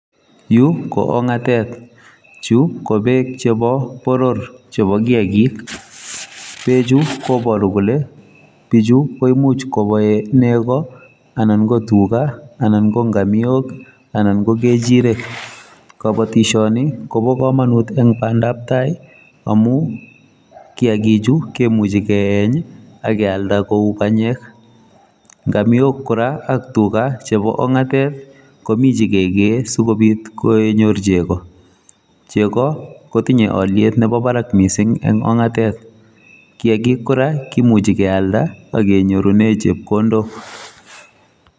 Yu ko ong'atet, chu ko beek chebo boror chebo kiyagik. Koboru kole bichu koimuch koboe nego, anan ko tuga, anan ko ngamiok, anan ko ng'echirek. Kobotishoni kobo komonut en bandap tai amun kiyakichu kemuchi kiyeny ak kealde koik banyek. Ngamiok kora ak tuga chebo ong'atet komi che kegei asikobit kenyor chego. Chego kotinye olyet nebo barak mising en ong'atet. Kiyakik kora kimuche kealda ak kenyorunen chepkondok.